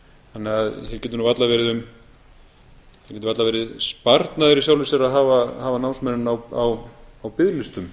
þannig að það getur nú varla verið sparnaður í sjálfu sér að hafa námsmennina á biðlistum